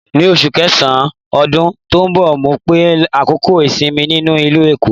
Ní oṣù kẹsàn-án ọdún tó ń bọ̀, mó fẹ́ lo àkókò ìsinmi mi nílùú Èkó.